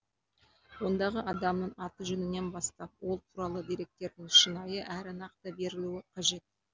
ондағы адамның аты жөнінен бастап ол туралы деректердің шынайы әрі нақты берілуі қажет